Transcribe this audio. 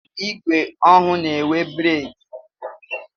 Igwe ọhụụ n'enwe breki.